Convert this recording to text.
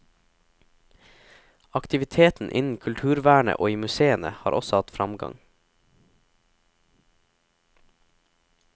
Aktiviteten innen kulturvernet og i museene har også hatt fremgang.